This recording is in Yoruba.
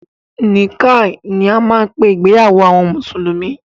Nikkah ni a máa ń pé ìgbéyàwó àwọn mùsùlùmí.